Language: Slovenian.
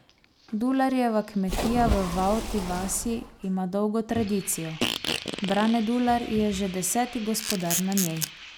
Dularjeva kmetija v Vavti vasi ima dolgo tradicijo, Brane Dular je že deseti gospodar na njej.